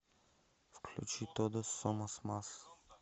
включи тодос сомос мас